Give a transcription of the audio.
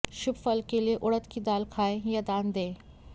शुभ फल के लिएउड़द की दाल खाएं या दान दें